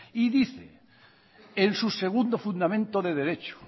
y dice en su segundo fundamento de derecho